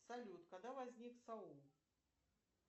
салют когда возник саул